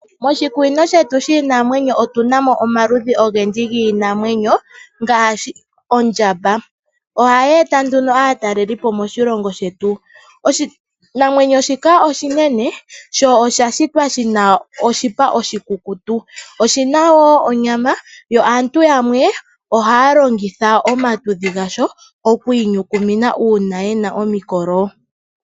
Moshikunino shetu shiinamwenyo otuna mo omaludhi ogendji giinamwenyo ngaashi, ondjamba. Ohayi eta nduno aatalelipo moshilongo shetu. Oshinamwenyo shika oshinene sho osha shitwa shina oshipa oshikukutu. Oshina wo onyama, yo aantu yamwe oha longitha omatudhi gasho okwi inyukumina uuna yena omikolo.